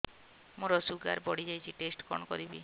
ମୋର ଶୁଗାର ବଢିଯାଇଛି ଟେଷ୍ଟ କଣ କରିବି